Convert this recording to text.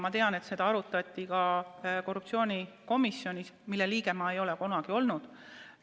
Ma tean, et seda arutati ka korruptsioonikomisjonis, mille liige ma ei ole kunagi olnud.